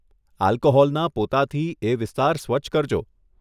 આલ્કોહોલના પોતાથી એ વિસ્તાર સ્વચ્છ કરજો.